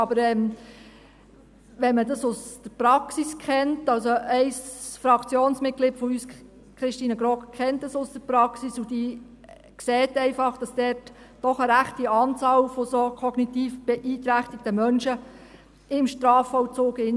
Aber wenn man dies aus der Praxis kennt – also: Ein Fraktionsmitglied von uns, Christine Grogg kennt dies aus der Praxis, und sie sieht, dass doch eine rechte Anzahl solch kognitiv beeinträchtigter Menschen im Strafvollzug gibt.